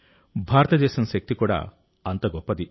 భారతదేశం శక్తి కూడా అంత గొప్పది